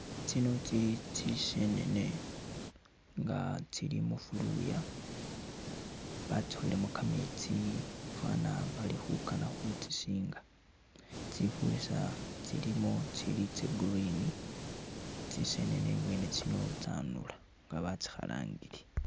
Tsino tsili tsisenene nga tsili mu fuluya batsukhilemo kametsi fana bali khukana khutsisinga tsifurisa tsilimo tsa green, tsisenene mwene tsino tsanula nga batsikhalangile.